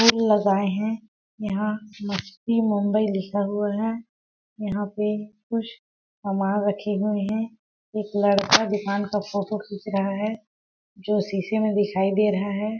फूल लगाए है यहाँ मस्ती-मुंबई लिखा हुआ है यहाँ पे कुश सामान रखे हुए है एक लड़का दुकान का फोटो खींच रहा है जो शीशे में दिखाई दे रहा है